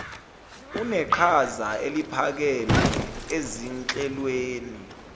uneqhaza eliphakeme ezinhlelweni